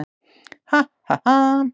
"""Ha, ha, ha!"""